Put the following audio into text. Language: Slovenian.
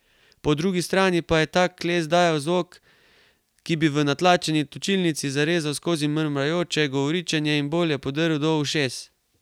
Po drugi strani pa je tak les dajal zvok, ki bi v natlačeni točilnici zarezal skozi mrmrajoče govoričenje in bolje prodrl do ušes.